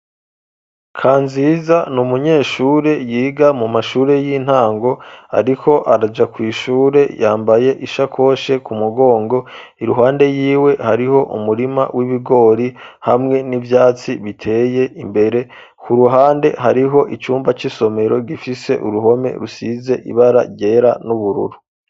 Kanziza n'umunyeshure yiga mu mashuri y'intango ariko araja kw'ishure yambaye ishakoshe ku mugongo iruhande yiwe hariho umurima w'ibigori hamwe n'ivyatsi biteye imbere ku ruhande hariho icumba c'isomero gifise uruhome rusize ibara ryera n'ubururu.